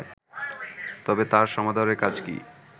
তবে তাঁর সমাদরে কাজ কি